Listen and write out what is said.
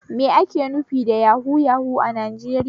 Me ake nufi da yahu yahu a Najeriya?